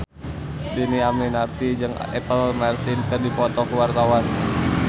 Dhini Aminarti jeung Apple Martin keur dipoto ku wartawan